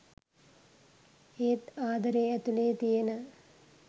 ඒත් ආදරේ ඇතුලේ තියෙන.